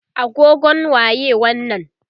agogon waye wannan?